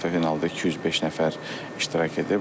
Finalda 205 nəfər iştirak edib.